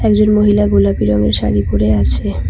একজন মহিলা গোলাপি রঙের শাড়ি পড়ে আছে।